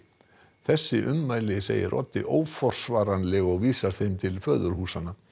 þessi ummæli segir Oddi óforsvaranleg og vísar þeim til föðurhúsanna